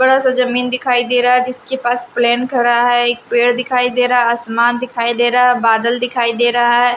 बड़ा सा जमीन दिखाई दे रहा है जिसके पास प्लेन खड़ा है एक पेड़ दिखाई दे रहा आसमान दिखाई दे रहा है बादल दिखाई दे रहा है।